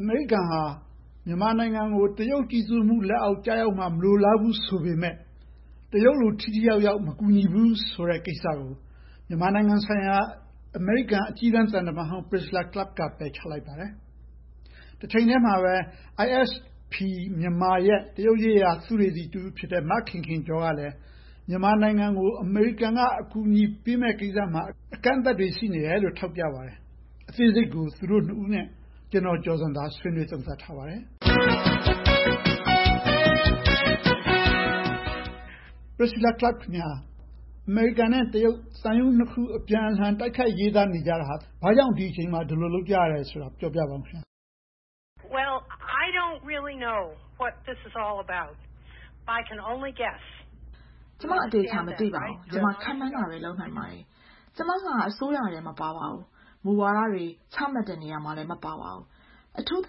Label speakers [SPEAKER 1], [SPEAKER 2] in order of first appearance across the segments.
[SPEAKER 1] အမေရိကန်က မြန်မာနိုင်ငံကို တရုတ်ကြီးစိုးမှုအောက် ကျရောက်မှာ မလိုလားပေမယ့် တရုတ်လို ထိထိရောက်ရောက် မကူညီဘူးဆိုတဲ့ကိစ္စကို မြန်မာနိုင်ငံဆိုင်ရာ အမေရိကန် အကြီးတန်းသံတမန်ဟောင်း Priscilla Clapp က ပယ်ချလိုက်ပါတယ်။ ISP ရဲ့ တရုတ်ရေးရာ သုတေသီ မခင်ခင်ကျော်ကလည်း မြန်မာနိုင်ငံကို အမေရိကန်က ကူညီရေး အကန့်အသတ်တွေကို ထောက်ပြပါတယ်။ အသေးစိတ်ကို သူတို့ နှစ်ဦးနဲ့ ဦးကျော်ဇံသာတို့ ဆွေးနွေးသုံးသပ်ထားပါတယ်။ Priscilla Clapp အမေရိကန်နဲ့ တရုတ် သံရုံးနှစ်ခုတို့ အပြန်အလှန် တိုက်ခိုက်ရေးသားနေကြတာဟာ ဘာကြောင့် ဒီအချိန်မှာ ဒီလိုလုပ်ကြတယ်ဆိုတာကို ပြောပြပါအုံး
[SPEAKER 2] ။
[SPEAKER 3] ကျမ အသေအချာ မသိပါဘူး။ ခန့်မှန်းတာပဲ ပြောနိုင်ပါတယ်။ ကျမက အစိုးရထဲမပါပါဘူး။ မူဝါဒတွေ ချမှတ်တဲ့နေရာမှာလဲ မပါပါဘူး။ အထူးသ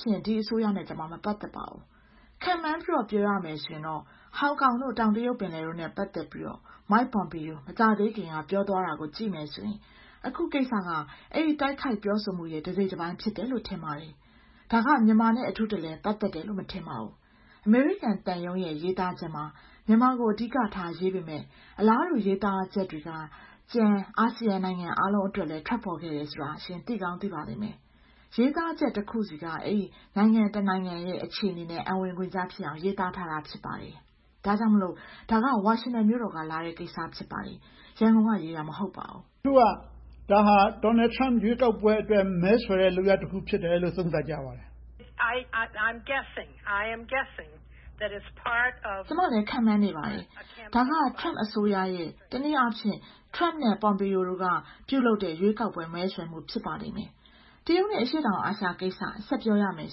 [SPEAKER 3] ဖြင့် ဒီအစိုးရနဲ့ ကျမ မပတ်သက်ပါဘူး။ ခန့်မှန်းပြီးတော့ ပြောရမယ်ဆိုရင်တော့ Hong Kong, နဲ့ တောင်တရုတ်ပင်လယ်တို့နဲ့ ပတ်သက်ပြီးတော့ Mike Pompeo မကြာသေးခင်က ပြောသွားတာကို ကြည့်မယ်ဆိုရင် အခုတိုက်ခိုက်မှုက အဲဒီပြောဆိုမှုရဲ့ တစိတ်တပိုင်း ဖြစ်တယ်လို့ ထင်ပါတယ်။ ဒါက မြန်မာနဲ့ ပတ်သက်တယ်လို့ အထူးတလဲ ပတ်သက်တယ်လို့ မထင်ပါဘူး။ အမေရိကန်သံရုံးရဲ့ ရေးသားချက်မှာ မြန်မာကို အဓိကထားရေးပေမယ့် အလားတူရေးသားချက်တွေက ကျန် အာဆီယံနိုင်ငံတွေအတွက်လဲ ထွက်ပေါ်ခဲ့တယ်ဆိုတာကို ရှင် သိကောင်းသိပါလိမ့်မယ်။ ရေးသားချက်တခုဆီက အဲဒီနိုင်ငံတခုတွေရဲ့ အခြေအနေနဲ့ အံ့ဝင်ခွင်ကျဖြစ်အောင် ရေးသားထားတာ ဖြစ်ပါတယ်။ ဒါကြောင့်မို့ ဒါက ဝါရှင်တန်ဒီစီမြို့တော် က လာတဲ့ကိစ္စ ဖြစ်ပါတယ်။ ရန်ကုန်ကရေးတာ မဟုတ်ပါ
[SPEAKER 1] ဘူး။ တချို့က ဒါက Donald Trump ရွေးကောက်ပွဲအတွက် မဲဆွယ်တဲ့ လုပ်ရပ်တစ်ခု ဖြစ်တယ်လို့ သုံးသပ်ကြပါတယ်။ ကျမလည်း ခန့်မှန်းနေပ
[SPEAKER 3] ါတယ်။ ဒါက Trump အစိုးရရဲ့ တနည်းအားဖြင့် Trump နဲ့ Pompeo တို့က ပြုလုပ်တဲ့ ရွေးကောက်ပွဲ မဲဆွယ်မှု ဖြစ်ပါလိမ့်မယ်။ တရုတ်နဲ့ အရှေ့တောင်အာရှကိစ္စ ဆက်ပြောရမယ်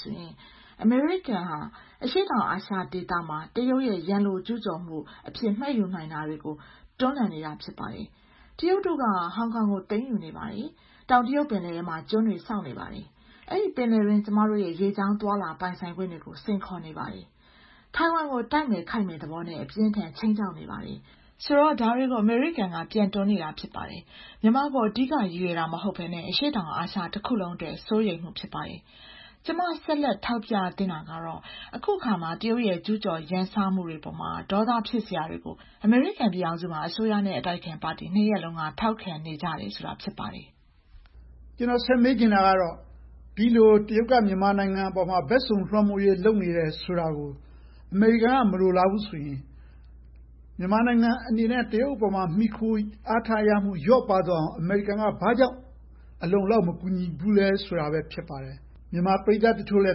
[SPEAKER 3] ဆိုရင် အမေရိကန်ဟာ အရှေ့တောင်အာရှဒေသမှာ တရုတ်ရဲ့ ရန်လိုကျူးကျော်မှုအဖြစ် မှတ်ယူနိုင်တာတွေကို တွန်းလှန်နေတာ ဖြစ်ပါတယ်။ တရုတ်တို့က ဟောင်ကောင်ကို သိမ်းယူနေပါတယ်။ တောင်တရုတ်ပင်လယ်ထဲမှာ ကျွန်းတွေဆောက်နေပါတယ်။ အဲဒီပင်လယ်အတွင်း ကျမတို့ရဲ့ ရေကြောင်းသွားလာမှုတွေကို စိန်ခေါ်နေပါတယ်။ ထိုင်ဝမ်ကို တိုက်မယ်ခိုက်မယ်ဆိုတဲ့ သဘောနဲ့ အပြင်းအထန် ခြိမ်းခြောက်နေပါတယ်။ ဆိုတော့ ဒါတွေကို အမေရိကန်က ပြန်တွန်းနေတာ ဖြစ်ပါတယ်။ မြန်မာကို အဓိက ရည်ရွယ်တာ မဟုတ်ဘဲနဲ့ အရှေ့တောင်အာရှတစ်ခုလုံးအတွက် စိုးရိမ်မှု ဖြစ်ပါတယ်။ ကျမ ဆက်လက်ထောက်ပြသင့်တာကတော့ အခုအခါမှာ တရုတ်ရဲ့ ကျူးကျော်ရန်စမှုတွေအပေါ်မှာ ဒေါသဖြစ်စရာတွေကို အမေရိကန်ပြည်ထောင်စုမှာ အစိုးရနဲ့ အတိုက်အခံပါတီ နှစ်ရပ်စလုံးက ထောက်ခံနေကြတယ်ဆိုတာ ဖြစ်ပါတယ်
[SPEAKER 1] ။ ကျနော် ဆက်မေးချင်တာကတော့ ဒီလို တရုတ်က မြန်မာနိုင်ငံအပေါ် ဘက်စုံလွှမ်းမိုးရေး လုပ်နေတယ်ဆိုတာကို အမေရိကန်က မလိုလားဘူးဆိုရင် မြန်မာနိုင်ငံအနေနဲ့ တရုတ်အပေါ်မှာ မှီခိုအားထားရမှု လျော့ပါးသွားအောင် အမေရိကန်က ဘာကြောင့်အလုံအလောက် မကူညီဘူးလဲ ဖြစ်ပါတယ်။ မြန်မာပရိသတ်တချို့လဲ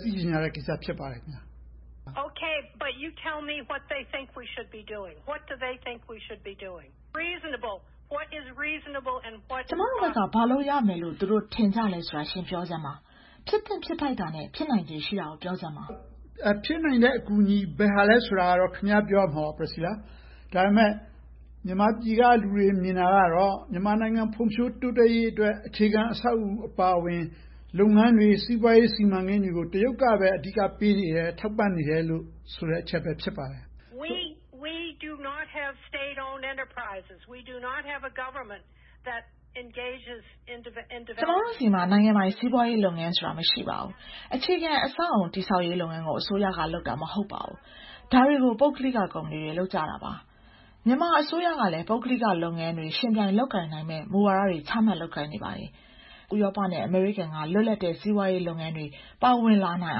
[SPEAKER 1] သိချင်ကြတဲ့ကိစ္စ ဖြစ်ပါတယ်။ ကျ
[SPEAKER 2] မတို့ဘက်က ဘ
[SPEAKER 3] ာလုပ်ရမယ်လို့ ထင်ကြလဲလို့ ရှင်ပြောပြပါ။ ဖြစ်သင့်ဖြစ်ထိုက်တာနဲ့ ဖြစ်နိုင်ချေ ရှ
[SPEAKER 1] ိတာကို ပြောစမ်းပါ။ ဖြစ်နိုင်တဲ့ အကူအညီ ဘယ်ဟာလဲဆိုတာကတော့ ခင်များ ပြောရမှာပေါ့။ ဒါပေမဲ့ မြန်မာပြည်က လူတွေမြင်တာကတော့ မြန်မာနိုင်ငံဖွံ့ဖြိုးတိုးတက်ရေးအတွက် အခြေခံအဆောက်အအုံအပါအဝင် လုပ်ငန်းတွေ၊ စီးပွားရေးစီမံကိန်းတွေကို တရုတ်ကပဲ အဓိက ကူညီပေးနေတယ်၊ ထောက်ပံ့နေတယ်ဆိုတဲ့ အချက်ပဲ ဖြစ်ပါတယ်။
[SPEAKER 2] ကျမတ
[SPEAKER 3] ို့ဆီမှာ နိုင်ငံပိုင်စီးပွားရေးလုပ်ငန်းဆိုတာ မရှိပါဘူး။ အခြေခံအဆောက်အအုံ တည်ဆောက်ရေးလုပ်ငန်းတွေကို အစိုးရက လုပ်တာမဟုတ်ပါဘူး။ ဒါတွေကို ပုဂ္ဂလိကကုမ္ပဏီတွေ လုပ်ကြတာပါ။ မြန်မာအစိုးရကလဲ ပုဂ္ဂလိကလုပ်ငန်းတွေ ရှင်သန်လုပ်ကိုင်နိုင်မယ့် မူဝါဒတွေ ချမှတ်လုပ်ကိုင်နေပါတယ်။ ဥရောပနဲ့ အမေရိကန်တို့က လွတ်လပ်တဲ့ စီးပွားရေးလုပ်ငန်းတွေ ပါဝင်လာနိုင်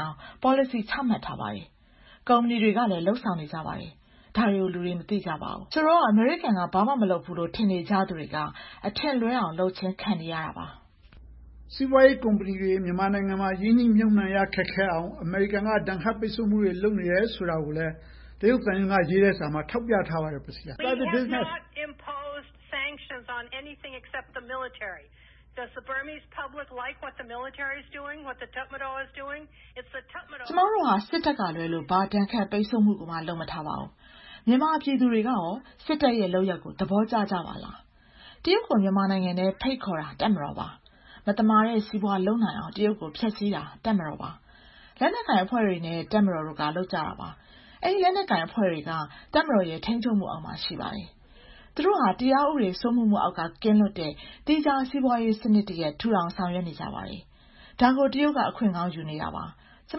[SPEAKER 3] အောင် ပေါ်လစီ ချမှတ်ထားပါတယ်။ ကုမ္ပဏီတွေကလည်း လုပ်ဆောင်နေကြပါတယ်။ ဒါတွေကို လူတွေမသိကြပါဘူး။ ဆိုတော့ အမေရိကန်က ဘာမှမလုပ်ဘူးလို့ ထင်နေကြသူတွေက အထင်လွဲအောင်လုပ်ခြင်း ခံနေရတာပါ
[SPEAKER 1] ။ စီးပွားရေးကုမ္ပဏီတွေ မြန်မာနိုင်ငံမှာ ရင်းနှီးမြုပ်နံှမှု ခက်ခဲအောင် အမေရိကန်က ဒဏ်ခတ်ပိတ်စို့မှုတွေ လုပ်နေတယ်ဆိုတာကိုလဲ တရုတ်သံရုံးက ရေးတဲ့စာမှာ ထောက်ပြထားပါတယ်။ ကျမတို့က စစ
[SPEAKER 3] ်တပ်ကလွဲလို့ ဘာဒဏ်ခတ်ပိတ်စို့မှုကို လုပ်မထားပါဘူး။ မြန်မာပြည်သူတွေက စစ်တပ်ရဲ့လုပ်ရပ်ကို သဘောကျပါရဲ့လား။ တရုတ်ကို မြန်မာနိုင်ငံထဲ ဖိတ်ခေါ်တာ တပ်မတော်ပါ။ မသမာတဲ့ စီးပွားရေးတွေ လုပ်နိုင်အောင် တရုတ်ကို ဖျက်ဆီးတာ တပ်မတော်ပါ။ လက်နက်ကိုင်အဖွဲ့တွေနဲ့ တပ်မတော်က လုပ်ကြတာပါ။ အဲဒီလက်နက်ကိုင်အဖွဲ့တွေက တပ်မတော်ရဲ့ ထိန်းချုပ်မှုအောက်မှာ ရှိပါတယ်။ သူတို့ဟာ တရားဥပဒေစိုးမိုးမှုအောက်က ကင်းလွတ်တဲ့ သီးခြားစီးပွားရေးစနစ် ထူထောင်ဆောင်ရွက်နေကြပါတယ်။ ဒါကို တရုတ်က အခွင့်ကောင်းယူနေတာပါ။ ကျ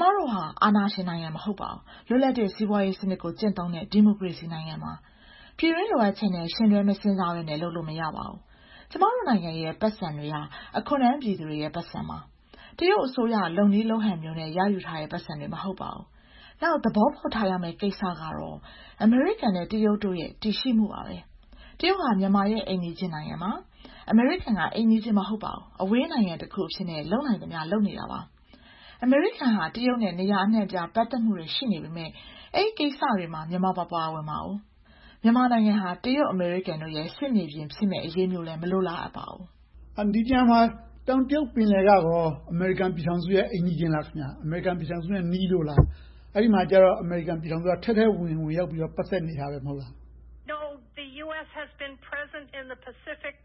[SPEAKER 3] မတို့ဟာ အာဏာရှင်နိုင်ငံ မဟုတ်ပါဘူး။ လွတ်လပ်တဲ့ စီးပွားရေးစနစ်ကို ကျင့်သုံးတဲ့ ဒီမိုကရေစီနိုင်ငံပါ။ ပြည်တွင်းလိုအပ်ချက်နဲ့ ယှဉ်တွဲမစဉ်းစားဘဲနဲ့ လုပ်လို့မရပါဘူး။ ကျမတို့နိုင်ငံတွေရဲ့ ပိုက်ဆံတွေဟာ အခွန်ထမ်းပြည်သူတွေရဲ့ ပိုက်ဆံပါ။ တရုတ်အစိုးရရဲ့ လုပ်နည်းလုပ်ဟန်မျိုးနဲ့ ရယူထားတဲ့ ပိုက်ဆံတွေ မဟုတ်ပါဘူး။ နောက် သဘောပေါက်ထားရမယ့် ကိစ္စကတော့ အမေရိကန်နဲ့ တရုတ်တို့ရဲ့ တည်ရှိမှုပါပဲ။ တရုတ်ဟာ မြန်မာရဲ့ အိမ်နီးချင်းနိုင်ငံပါ။ အမေရိကန်က အိမ်နီးချင်း မဟုတ်ပါဘူး။ အဝေးနိုင်ငံတခုအနေနဲ့ လုပ်နိုင်သမျှ လုပ်နေတာပါ။ အမေရိကန်ဟာ တရုတ်နဲ့ နေရာအနံှ့အပြား ပတ်သက်မှုတွေ ရှိနေပေမယ့် အဲဒီကိစ္စတွေမှာ မြန်မာမပါဝင်ပါဘူး။ မြန်မာနိုင်ငံဟာ တရုတ်-အမေရိကန်တွေရဲ့ စစ်မြေပြင်ဖြစ်မယ့်အရေးမျိုးလဲ မလိုလားအပ်ပါဘူး
[SPEAKER 1] ။ ဒီနေရာမှာ တောင်တရုတ်ပင်လယ်ကရော အမေရိကန်ပြည်ထောင်စုရဲ့ အိမ်နီးချင်းပဲလား ခင်များ။ အမေရိကန်ပြည်ထောင်စုနဲ့ နီးလို့လား။ အဲဒီမှာကျတော့ အမေရိကန်ပြည်ထောင်စုက ထဲထဲဝင်ဝင် ဝင်ရောက်ပြီးတော့ ပတ်သက်နေတယ် မဟုတ်လား။ ပစ
[SPEAKER 2] ္စိဖိတ်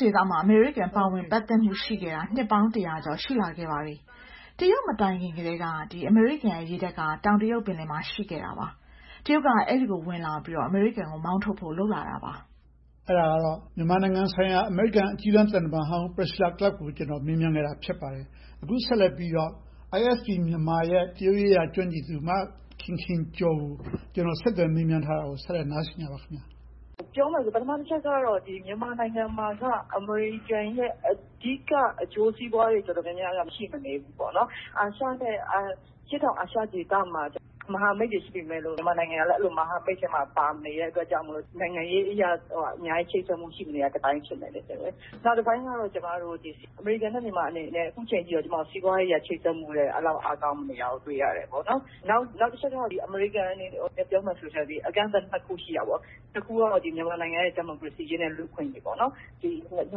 [SPEAKER 3] ဒေသမှာ အမေရိကန်ပါဝင်ပတ်သက်မှု ရှိနေခဲ့တာ နှစ်ပေါင်းတစ်ရာကျော် ရှိနေခဲ့ပါပြီ။ တရုတ်မတိုင်ခင်ကတည်းက အမေရိကန်ရေတပ်က တောင်တရုတ်ပင်လယ်မှာ ရှိခဲ့တာပါ။ တရုတ်က အဲဒီကို ဝင်လာခဲ့ပြီးတော့ အမေရိကန်ကို မောင်းထုတ်ဖို့ လုပ်လာတာပါ
[SPEAKER 1] ။ အဲဒါကတော့ မြန်မာနိုင်ငံဆိုင်ရာ အမေရိကန်အကြီးတန်းသံတမန်ဟောင်း Priscilla Clapp ကို မေးမြန်းခဲ့တာ ဖြစ်ပါတယ်။ အခုဆက်လက်ပြီးတော့ ISP-Myanmar ရဲ့ တရုတ်ရေးရာ ကျွမ်းကျင်သူ မခင်ခင်ကျော်ကို ဆက်သွယ်မေးမြန်းထားတာကို ဆက်လက်တင်ပြထားပါတယ်။
[SPEAKER 4] ပြောမယ်ဆိုရင် ပထမတစ်ချက်ကတော့ မြန်မာနိုင်ငံမှာက အမေရိကန်ရဲ့ အဓိကအကျိုးစီးပွားတွေ တော်တော်များများက ရှိမနေပါဘူး။ အာရှနဲ့ အရှေ့တောင်အာရှဒေသတွေမှာ မဟာမိတ်တွေ ရှိနေပေမယ့်လို့ မြန်မာနိုင်ငံကတော့ အဲဒီမဟာမိတ်ထဲမှာ မပါနေခဲ့တဲ့အတွက် နိုင်ငံရေးအရ အများကြီးချိတ်ဆက်မှု ရှိမနေတာတပိုင်း ဖြစ်တယ်။ နောက်တပိုင်းကတော့ အမေရိကန်နဲ့ မြန်မာအနေနဲ့ အခုအချိန်အထိ စီးပွားရေးအရ ချိတ်ဆက်မှု အဲဒီလောက် အားကောင်းမနေတာကို တွေ့ရတယ်။ နောက်တစ်ချက်က အမေရိကန်အနေနဲ့ ပြောမယ်ဆိုရင် အကန့်အသတ်နှစ်ခု ရှိတယ်။ တစ်ခုကတော့ မြန်မာနိုင်ငံရဲ့ ဒီမိုကရေစီအရေးနဲ့ လူ့အခွင့်အရေး။ ၂၀၁၀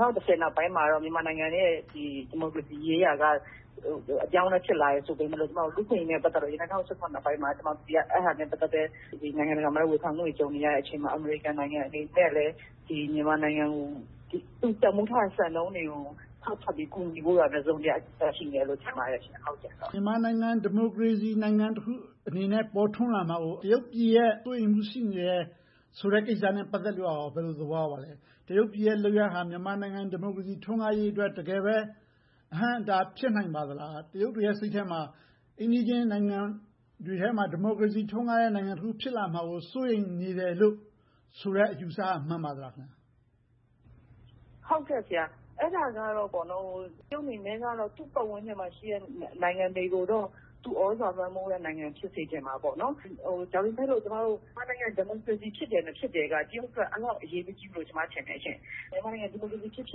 [SPEAKER 4] နောက်ပိုင်းမှာတော့ မြန်မာနိုင်ငံရဲ့ ဒီမိုကရေစီရေးရာက အပြောင်းအလဲ ဖြစ်လာတယ်ဆိုပေမယ့်လို့ လူ့အခွင့်အရေးနဲ့ ပတ်သက်လို့ ၂၀၁၇ နောက်ပိုင်းမှာ အဲဒါနဲ့ ပတ်သက်လို့ နိုင်ငံတကာမှာလဲ ဝေဖန်မှုတွေနဲ့ ကြုံနေရတယ်။ အမေရိကန်နိုင်ငံအနေနဲ့လဲ မြန်မာနိုင်ငံကို သူတန်းဖိုးထားတဲ့ စံနှုန်းတွေကို ဖောက်ထွက်ပြီးတော့ ကူညီဖို့တော့ တစုံတရာ ရှိမယ်လို့တော့ ထင်ပါတယ်။ မ
[SPEAKER 1] ြန်မာနိုင်ငံ ဒီမိုကရေစီနိုင်ငံတစ်ခုအနေနဲ့ ပေါ်ထွန်းလာမှာကို တရုတ်ပြည်အနေနဲ့ စိုးရိမ်မှု ရှိနေတယ်ဆိုတဲ့ ကိစ္စနဲ့ ပတ်သက်လို့ကော ဘယ်လိုသဘောရပါသလဲ။ တရုတ်ပြည်ရဲ့ လုပ်ရပ်ဟာ မြန်မာနိုင်ငံ ဒီမိုကရေစီ ထွန်းကားရေးအတွက် တကယ်ပဲ အဟန့်အတား ဖြစ်နိုင်ပါသလား။ တရုတ်တွေရဲ့ စိတ်ထဲမှာ အိမ်နီးချင်းနိုင်ငံတွေထဲမှာ ဒီမိုကရေစီ ထွန်းကားတဲ့ နိုင်ငံတနိုင်ငံ ဖြစ်လာမှာကို စိုးရိမ်နေတယ်လို့ဆိုတဲ့ အယူအဆ မှန်ပါသလား။
[SPEAKER 4] အဲဒါကတော့ တရုတ်အနေနဲ့ကတော့ သူ့ပတ်ဝန်းကျင်မှာရှိတဲ့ နိုင်ငံတွေကိုတော့ သူ့သြဇာလွှမ်းမိုးတဲ့နိုင်ငံ ဖြစ်စေချင်တာပေါ့။ ဒါပေမဲ့လို့ မြန်မာနိုင်ငံ ဒီမိုကရေစီ ဖြစ်တယ်၊ မဖြစ်တယ်က တရုတ်အတွက် အဲဒီလောက် အရေးမကြီးဘူးလို့ ထင်တယ်။ မြန်မာနိုင်ငံ ဒီမိုကရေစီ ဖြစ်ဖြ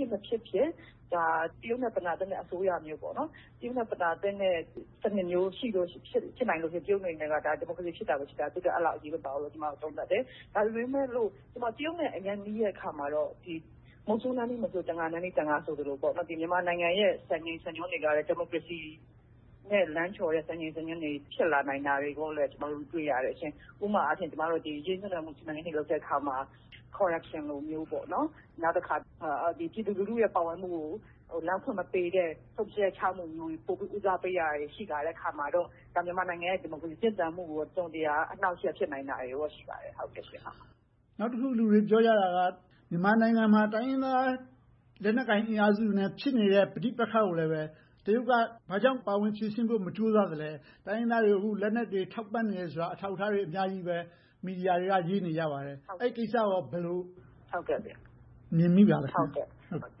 [SPEAKER 4] စ်၊ မဖြစ်ဖြစ် တရုတ်နဲ့ ပနာတင်တဲ့ အစိုးရမျိုး၊ တရုတ်နဲ့ ပနာတင့်တဲ့ စနစ်မျိုး ဖြစ်နေလို့က တရုတ်အနေနဲ့က ဒီမိုကရေစီ ဖြစ်တယ်မဖြစ်ဘူးဆိုတာက တရုတ်အတွက် အရေးမပါဘူးလို့ ကျမတို့ သုံးသပ်တယ်။ ဒါပေမဲ့လို့ တရုတ်နဲ့ အရမ်းနီးတဲ့အခါမှာတော့ မုဆိုးနားနီး မုဆိုး၊ တံငါးနားနီး တံငါးဆိုသလို မြန်မာနိုင်ငံရဲ့ စံချိန်းစံညွှန်းတွေက ဒီမိုကရေစီနဲ့ လမ်းလျှော်တဲ့ စံချိန်းစံညွှန်းတွေ ဖြစ်လာနိုင်တာကို ကျမတို့ တွေ့ရတယ်။ ဥပမာအားဖြင့် စီမံကိန်းတွေ လုပ်တဲ့အခါမှာ Corruption လိုမျိုး၊ နောက်တစ်ခါ ပြည်သူလူထုရဲ့ ပါဝင်ပတ်သက်မှုကို လမ်းမဖွင့်ပေးတဲ့ ဆုံးဖြတ်ချက်ချမှုမျိုးတွေ ဦးစားပေးလာတာတွေ ရှိလာတဲ့အခါမှာတော့ မြန်မာနိုင်ငံရဲ့ ဒီမိုကရေစီ ရှင်သန်မှုကို တစုံတရာ အနှောင့်အယှက် ဖြစ်နိုင်တာတွေ ရှိပါတယ်။ နောက်တ
[SPEAKER 1] စ်ခု လူတွေပြောကြတာကတော့ မြန်မာနိုင်ငံမှာ တိုင်းရင်းသားလက်နက်ကိုင် အင်အားစုတွေနဲ့ ဖြစ်နေတဲ့ ပဋိပက္ခတွေမှာ တရုတ်က ဘာကြောင့်ပါဝင်ဖြေရှင်းဖို့ မကြိုးစားသလဲ။ တိုင်းရင်းသားတွေကို တရုတ်က လက်နက်တွေ ထောက်ပံ့နေတယ်ဆိုတာ အထောက်အထားတွေ အများကြီးဆိုတာကို မီဒီယာတွေက ရေးနေကြပါတယ်။ အဲဒီကိစ္စကို ဘယ်လိုသဘောရပါသလဲ။ မြင်မိပါသလဲ။ တ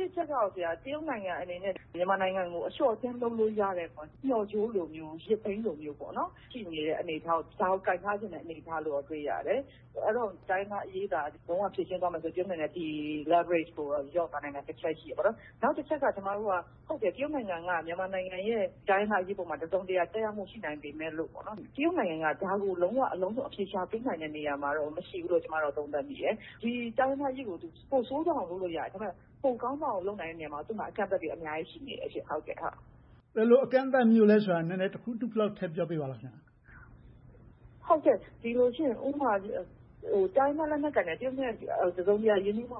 [SPEAKER 1] စ်တချက်ကတော့ တရုတ်နိုင်ငံအနေနဲ့ မြန်မာနိုင်ငံကို အလျှော့အတင်း လုပ်
[SPEAKER 4] လို့ရတဲ့ မျှော့ကြိုးလိုမျိုး၊ ရစ်ဘီးလိုမျိုး ရှိနေတဲ့ အနေအထား - ဒါကိုကိုင်ထားချင်တဲ့ အနေအထားကို တွေ့ရတယ်။ တိုင်းရင်းသားအရေးသာ လုံးဝဖြေရှင်းသွားမယ်ဆိုရင် တရုတ်အနေနဲ့ ဒီ leverage ကို လျော့သွားနိုင်တဲ့ တစ်ချက် ရှိတယ်။ နောက်တစ်ချက်က တရုတ်နိုင်ငံက မြန်မာနိုင်ငံရဲ့ တိုင်းရင်းသားအရေးပေါ် တစုံတရာ သက်ရောက်မှု ရှိနိုင်ပေမယ့် တရုတ်နိုင်ငံက ဒါကို လုံးဝအလုံးစုံ အဖြေရှာပေးနိုင်တဲ့ နေရာမှာတော့ မရှိဘူးလို့ ကျမအနေနဲ့ သုံးသပ်တယ်။ ဒီတိုင်းရင်းသားအရေးကို ပိုဆိုးသွားအောင် လုပ်လို့ရတယ်။ ဒါပေမဲ့ ပိုကောင်းလာအောင် လုပ်နိုင်မယ့်နေရာမှတော့ အကန့်အသတ်တွေ အများကြီး ရှိနေပါတယ်။
[SPEAKER 1] ဘယ်လို အကန့်အသတ်မျိုးတွေလဲဆိုတာကို တစ်ခုနှစ်ခုလောက် ထည့်ပြောပေးပါလား။ ဥပ
[SPEAKER 4] မာ တိုင်းရင်းသားလက်နက်ကိုင်တွေက တရုတ်နဲ့ တစုံတရာ ရင်းနှီးမှု